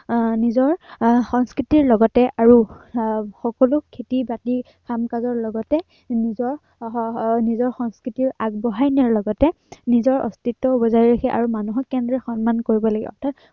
আহ নিজৰ সংস্কৃতিৰ লগতে আৰু আহ সকলো খেতি-বাতি, কাম কাজৰ লগতে, নিজৰ হম নিজৰ সংস্কৃতি আগবঢ়াই নিয়াৰ লগতে নিজৰ অস্তিত্বও বজাই ৰাখে আৰু মানুহক কেনেদৰে সন্মান কৰিব লাগে অৰ্থাৎ